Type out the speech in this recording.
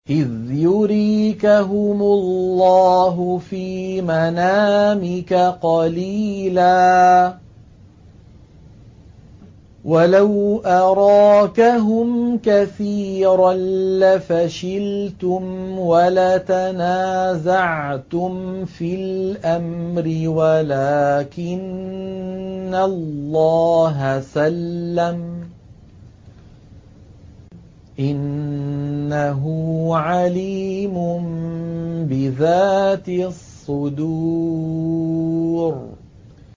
إِذْ يُرِيكَهُمُ اللَّهُ فِي مَنَامِكَ قَلِيلًا ۖ وَلَوْ أَرَاكَهُمْ كَثِيرًا لَّفَشِلْتُمْ وَلَتَنَازَعْتُمْ فِي الْأَمْرِ وَلَٰكِنَّ اللَّهَ سَلَّمَ ۗ إِنَّهُ عَلِيمٌ بِذَاتِ الصُّدُورِ